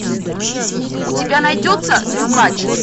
у тебя найдется трюкач